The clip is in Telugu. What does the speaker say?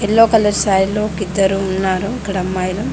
ఎల్లో కలర్ శారీలో ఒక ఇద్దరు ఉన్నారు ఇక్కడ అమ్మాయిలు.